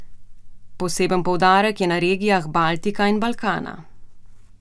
Poseben poudarek je na regijah Baltika in Balkana.